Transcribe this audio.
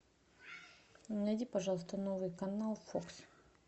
найди пожалуйста новый канал фокс